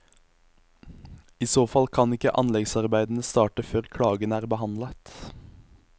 I så fall kan ikke anleggsarbeidene starte før klagen er behandlet.